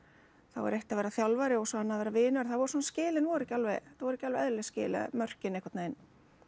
þá er eitt að vera þjálfari og annað að vera vinur það voru svona skilin voru ekki alveg þetta voru ekki alveg eðlileg skil eða mörkin einhvern veginn